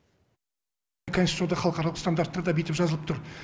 конституцияда халықаралық стандарттарда бүйтіп жазылып тұр